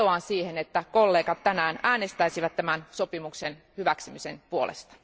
Vetoan siihen, että kollegat tänään äänestäisivät tämän sopimuksen hyväksymisen puolesta.